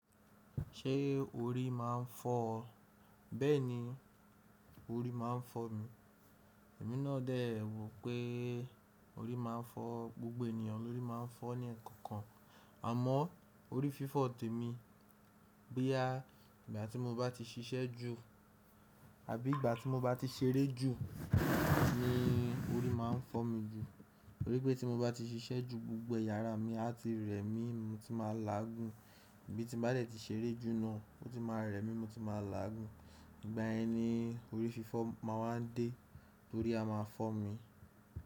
Ṣé orí má a n fọ́ ọ? Bẹ́ẹ̀ni, orí má a n fọ́ mi. Èmi náà dẹ̀ ẹ wopé orí má a n fọ́ gbogbo ènìyàn, lórí má a n fọ́ ní ẹ̀ẹ̀kan kan. Àmọ́ orí fífọ́ tẹ̀ mi. Boyà igba tí mo bá ti ṣiṣẹ́ jù àbí ìgbà tí mo bá ti ṣeré jù ni orí má a n fọ́ mi jù. Torí pé tí mo bá ti ṣiṣẹ́ jù gbogbo eya àrá mi a tí rẹ mi mo ti má a làágùn. Bí ti n bá dẹ̀ tí ṣeré jù náà o ti má a rẹ mi mo ti má a làágùn. Ìgbà yẹni orí fífọ́ ma wà n dé torí a ma fọ́ mi.